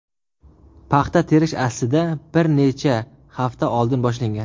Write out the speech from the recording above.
Paxta terish aslida bir necha hafta oldin boshlangan.